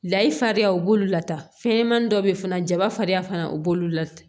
Layi fariya u b'olu lata fɛnɲɛnamanin dɔ bɛ yen fana jaba fariya fana u b'olu lataa